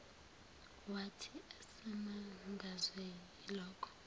wathi esamangazwe yilokho